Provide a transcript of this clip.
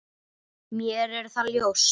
Mér er það ljóst.